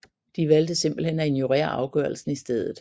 De valgte simpelthen at ignorere afgørelsen i stedet